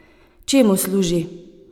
Čemu služi?